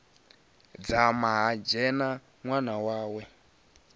dzama ha dzhena ṅwana wawe